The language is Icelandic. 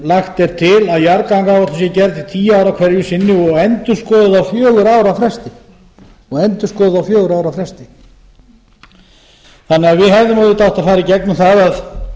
lagt er til að jarðgangaáætlun sé gerð til tíu ára hverju sinni og endurskoðuð á fjögurra ára fresti við hefðum því auðvitað átt að fara í gegnum það að